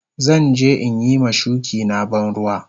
Zan je in yi ma shuki na ban ruwa.